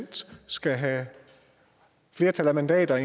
skal have et flertal af mandater og